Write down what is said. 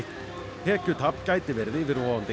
tekjutap gæti verið yfirvofandi